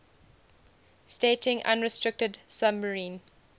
stating unrestricted submarine